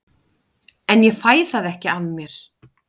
En ég fæ það ekki af mér.